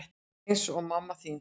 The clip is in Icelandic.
Eins og mamma þín.